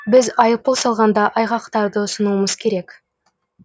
біз айыппұл салғанда айғақтарды ұсынуымыз керек